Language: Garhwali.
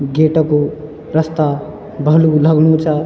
गेट कू रस्ता भलू लघणु चा।